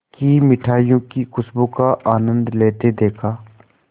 की मिठाइयों की खूशबू का आनंद लेते देखा